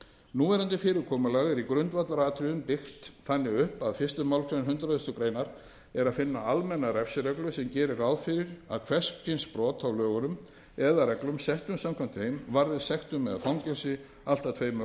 núverandi fyrirkomulag er í grundvallaratriðum byggt þannig upp að í fyrstu málsgrein hundrað greinar er að finna almenna refsireglu sem gerir ráð fyrir að hvers kyns brot á lögunum eða reglum settum samkvæmt þeim varði sektum eða fangelsi allt að tveimur árum